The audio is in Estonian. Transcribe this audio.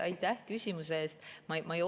Aitäh küsimuse eest!